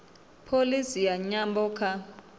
pholisi ya nyambo kha